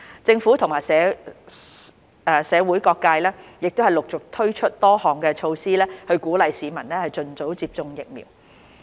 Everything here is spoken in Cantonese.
政府和社會各界陸續推出多項措施，鼓勵市民盡早接種疫苗。